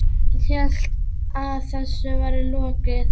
Hélt að þessu væri lokið.